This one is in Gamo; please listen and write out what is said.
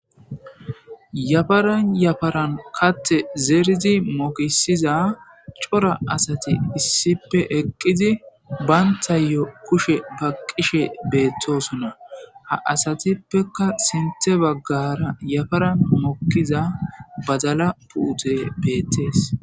Yafaran yafaran katte zeridi mokisiza coora asati issipe eqqizi bayntayyo kushe ba qishe beettosuna ha asatippeka sinthe baggara yafaran mokkiza badala puute beettees